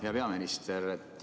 Hea peaminister!